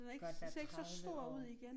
Godt være 30 år